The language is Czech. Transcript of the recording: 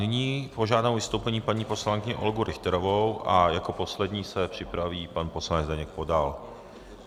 Nyní požádám o vystoupení paní poslankyni Olgu Richterovou a jako poslední se připraví pan poslanec Zdeněk Podal.